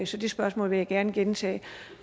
så det spørgsmål vil jeg gerne gentage